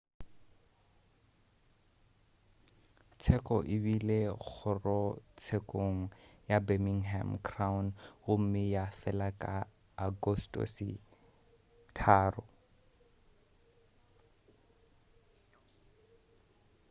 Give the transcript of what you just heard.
tsheko e bile kgorotshekong ya birmingham crown gomme ya fela ka agostose 3